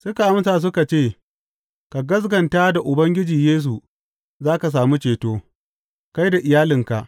Suka amsa suka ce, Ka gaskata da Ubangiji Yesu, za ka sami ceto, kai da iyalinka.